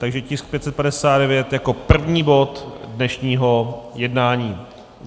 Takže tisk 559 jako první bod dnešního jednání.